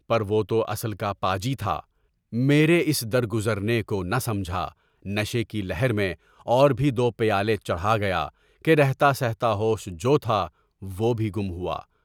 یہ وہ توا صل کا پا جی تھا، میرے اس در گزرنے کو نہ سمجھا، نشے کی لہر میں اور بھی دو پیالے چڑھا گیا کہ رہتا سہتا ہو ش جو تھا، وہ بھی گم ہوا۔